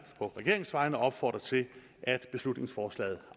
på regeringens vegne opfordre til at beslutningsforslaget